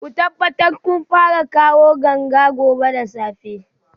Ku tabbata kun fara kawo ganga gobe da safe